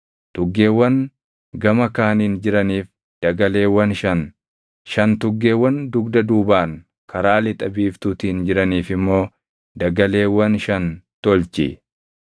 tuggeewwan gama kaaniin jiraniif dagaleewwan shan, shan tuggeewwan dugda duubaan karaa lixa biiftuutiin jiraniif immoo dagaleewwan shan tolchi.